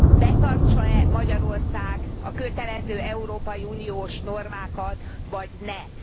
betartsa e Magyarország a kötelező európai uniós normákat vagy ne.